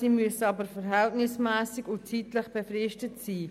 Sie müssen aber verhältnismässig und zeitlich befristet sein.